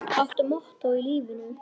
Áttu mottó í lífinu?